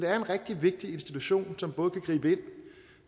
er en rigtig vigtig institution som både kan gribe ind